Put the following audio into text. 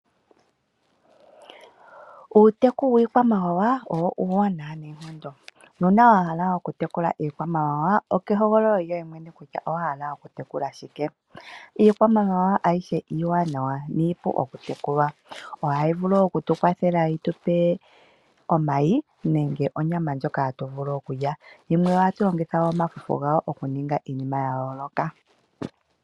Uuteku wiikwamawa, owo uuwanawa noonkondo. Nuuna wa hala okutekula iikwamawawa okehogololo lyoye mwene kutya owahala okutekula shike. Iikwamawawa ayihe iiwanawa niipu okutekulwa. Ohayi vulu wo okutu kwathela yitupe omayi nenge onyama ndjoka hatu vulu okulya. Yimwe ohatu longitha omafufu gawo okuninga iinima ya yooloka.